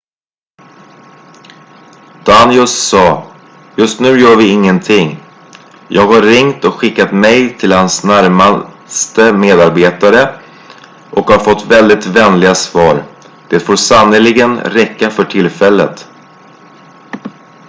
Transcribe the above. "danius sa "just nu gör vi ingenting. jag har ringt och skickat mejl till hans närmsta medarbetare och har fått väldigt vänliga svar. det får sannerligen räcka för tillfället.""